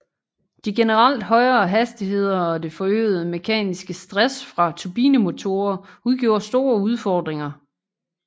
De generelt højere hastigheder og det forøgede mekaniske stress fra turbinemotorer udgjorde store udfordringer